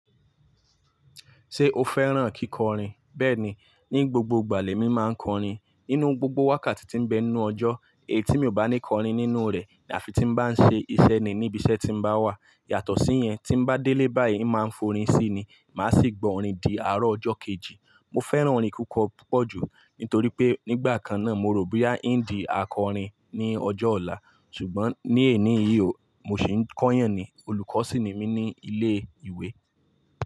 Ṣé o fẹ́ràn kíkọrin? Bẹ́ẹ̀ni, ní gbogbo ìgbà lẹ̀ mi má ń kọrin. Nínú gbogbo wákàtí tí ń bẹ inú ọjọ́, èyí tí mi ò bá ní kọrin nínú rẹ̀ ni àfi tí mo bá ń ṣe ìṣe ni níbi iṣẹ́ tí mo bá wà. Yàtọ̀ sí yẹn, tí bá délé báyìí má ń forín sí ni, má sì gbọ́ orin di àárọ̀ ọjọ́ kejì. Mo fẹ́ràn orin kíkọ púpọ̀ ju, nítorí pé nígbà kan náà mo rò bóyá ń di akọrin ní ọjọ́ ọ̀la. Ṣùgbọ́n ní èní ìhò, mo sì ń kọ́yàn ni, olùkọ́ sì ni mí ní ilé ìwé.